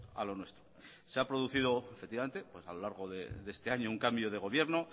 a lo nuestro se ha producido efectivamente a lo largo de este año un cambio de gobierno